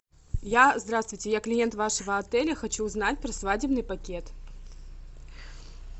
я здравствуйте я клиент вашего отеля хочу узнать про свадебный пакет